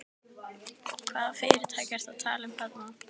Lára: Hvaða fyrirtæki ertu að tala um þarna?